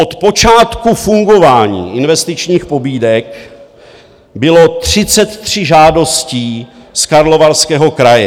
Od počátku fungování investičních pobídek bylo 33 žádostí z Karlovarského kraje.